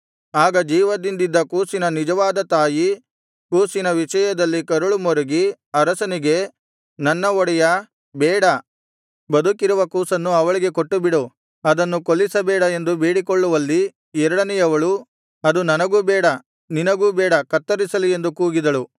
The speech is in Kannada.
ಆಗ ಜೀವದಿಂದಿದ್ದ ಕೂಸಿನ ನಿಜವಾದ ತಾಯಿ ಕೂಸಿನ ವಿಷಯದಲ್ಲಿ ಕರಳು ಮರುಗಿ ಅರಸನಿಗೆ ನನ್ನ ಒಡೆಯಾ ಬೇಡ ಬದುಕಿರುವ ಕೂಸನ್ನು ಅವಳಿಗೆ ಕೊಟ್ಟುಬಿಡು ಅದನ್ನು ಕೊಲ್ಲಿಸಬೇಡ ಎಂದು ಬೇಡಿಕೊಳ್ಳುವಲ್ಲಿ ಎರಡನೆಯವಳು ಅದು ನನಗೂ ಬೇಡ ನಿನಗೂ ಬೇಡ ಕತ್ತರಿಸಲಿ ಎಂದು ಕೂಗಿದಳು